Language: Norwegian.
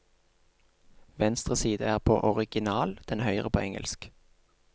Venstre side er på original, den høyre på engelsk.